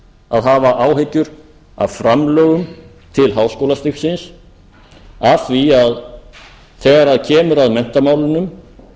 að hafa áhyggjur af framlögum til háskólastigsins af því að þegar kemur að menntamálunum